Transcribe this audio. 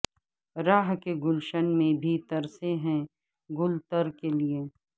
رہ کے گلشن میں بھی ترسے ہیں گل تر کے لئے